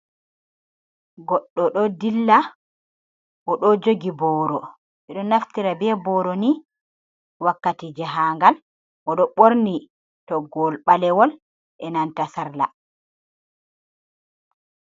Goɗɗo ɗo dilla oɗo jogi booro. Ɓeɗo naftira be booro ni wakkati jahangal, oɗo ɓorni toggowol ɓalewol e'nanta sarla.